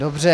Dobře.